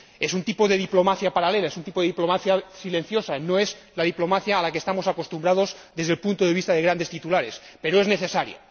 Es un tipo de diplomacia paralela, es un tipo de diplomacia silenciosa, no es la diplomacia a la que estamos acostumbrados desde el punto de vista de grandes titulares, pero es necesaria.